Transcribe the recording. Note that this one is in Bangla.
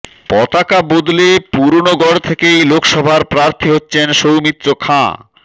পতাকা বদলে পুরনো গড় থেকেই লোকসভার প্রার্থী হচ্ছেন সৌমিত্র খাঁ